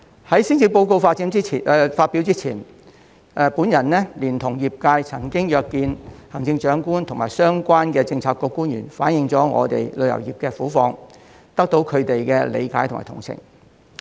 在施政報告發表前，我連同業界曾經約見行政長官及相關的政策局官員，反映我們旅遊業的苦況，得到他們的理解及同情。